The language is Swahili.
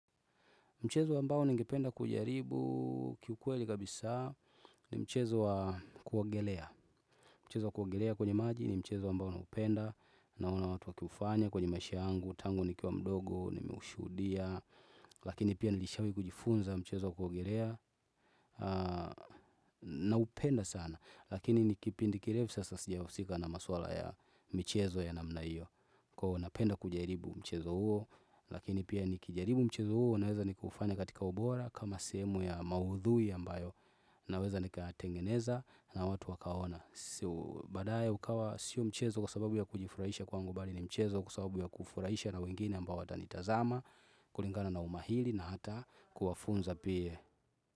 Mchezo ambao ningependa kujaribu kiukweli kabisa ni mchezo wa kuogelea. Mchezo wa kuogelea kwenye maji ni mchezo ambao naupenda. Naona watu wakiufanya kwenye maisha yangu, tangu nikia mdogo, nimeushuhudia. Lakini pia nilishawahi kujifunza mchezo wa kuogelea. Naupenda sana. Lakini ni kipindi kirefu sasa sijahusika na maswala ya michezo ya namna hiyo. Kwa hivyo napenda kujaribu mchezo huo. Lakini pia nikijaribu mchezo huo naweza nikuufanya katika ubora. Kama sehemu ya maudhui ambayo naweza nikayatengeneza na watu wakaona. Baadaye ukawa sio mchezo kwa sababu ya kujifurahisha kwaangu bali ni mchezo kwa sababu ya kufurahisha na wengine ambayo watanitazama, kulingana na umahiri na hata kuwafunza pia.